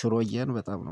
ሽሮዬን በጣም ነው